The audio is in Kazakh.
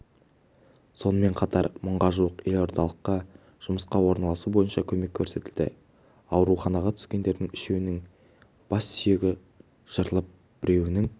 сонымен қатар мыңға жуық елордалыққа жұмысқа орналасу бойынша көмек көрсетілді ауруханаға түскендердің үшеуінің бассүйегі жарылып біреуінің